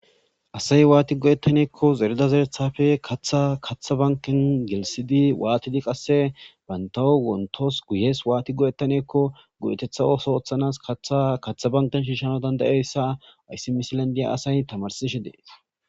Asay waani go'etane giikko zerida zereththappe kaththa kaththa banken gelsidi waattidi qasse bantaw wontos guyes waattidi go'ettane giikko go'eteththa ooso ooththanas kaththa kaththa banken shiishanaw danda'izayssa hayssi misilen diya asay tamarsishe de'es.